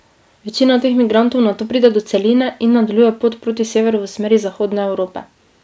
Večina teh migrantov nato pride do celine in nadaljuje pot proti severu v smeri zahodne Evrope.